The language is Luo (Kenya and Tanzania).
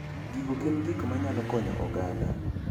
Gigo gin gik manyalo konyo oganda.